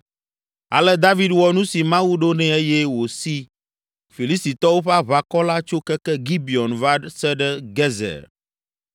Ale David wɔ nu si Mawu ɖo nɛ eye wòsi Filistitɔwo ƒe aʋakɔ la tso keke Gibeon va se ɖe Gezer.